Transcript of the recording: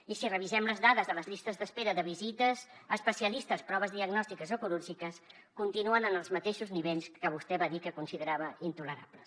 i si revisem les dades de les llistes d’espera de visites a especialistes proves diagnòstiques o quirúrgiques continuen en els mateixos nivells que vostè va dir que considerava intolerables